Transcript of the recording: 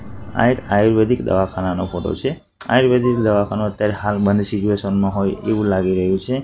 આ એક આયુર્વેદિક દવાખાનાનો ફોટો છે આયુર્વેદિક દવાખાનું અત્યારે હાલ બંધ સીચુએશન માં હોય એવું લાગી રહ્યું છે.